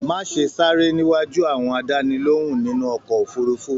Má ṣe sáré níwájú àwọn àdánilohùn nínú ọkọ òfurùnfu!